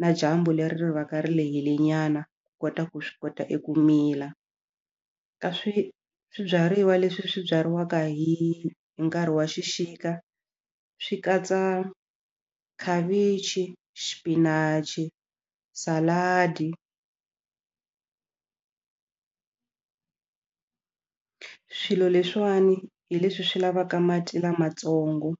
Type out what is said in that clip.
na dyambu leri va ka ri lehile nyana ku kota ku swi kota eku mila ka swi swibyariwa leswi swi byariwaka hi nkarhi wa xixika swi katsa khavichi xipinachi saladi swilo leswiwani hi leswi swi lavaka mati lamatsongo